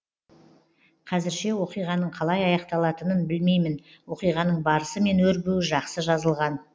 қазірше оқиғаның қалай аяқталатынын білмеймін оқиғаның барысы мен өрбуі жақсы жазылған